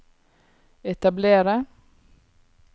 etablere